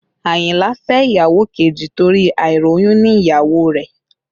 Àyìnlá fẹ́ ìyàwó kejì torí àìróyúnní ìyàwó rẹ̀